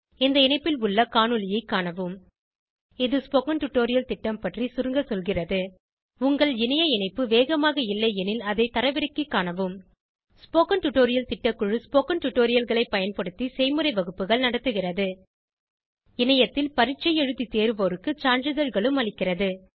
இந்த இணைப்பில் உள்ள காணொளியைக் காணவும் இது ஸ்போகன் டுடோரியல் திட்டம் பற்றி சுருங்க சொல்கிறது உங்கள் இணைய இணைப்பு வேகமாக இல்லையெனில் அதை தரவிறக்கிக் காணவும் ஸ்போகன் டுடோரியல் திட்டக்குழு ஸ்போகன் டுடோரியல்களைப் பயன்படுத்தி செய்முறை வகுப்புகள் நடத்துகிறது இணையத்தில் பரீட்சை எழுதி தேர்வோருக்கு சான்றிதழ்களும் அளிக்கிறது